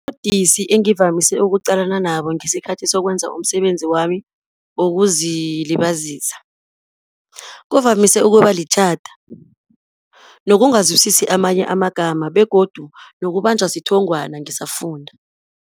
Ubudisi engivamise ukuqalana nabo ngesikhathi sokwenza umsebenzi wami wokuzilibazisa, kuvamise ukuba litjhada nokungazwisisa amanye amagama, begodu nokubanjwa sithongwana ngisafunda.